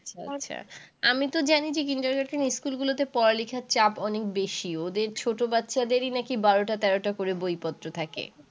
ও আচ্ছা। আমি তো জানি যে kindergarten School গুলোতে পড়া-লিখার চাপ অনেক বেশি। ওদের ছোট বাচ্চাদেরই নাকি বারোটা-তেরোটা করে বই-পত্র থাকে।